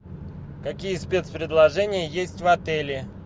какие спецпредложения есть в отеле